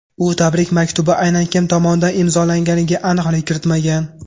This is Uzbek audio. U tabrik maktubi aynan kim tomonidan imzolanganiga aniqlik kiritmagan.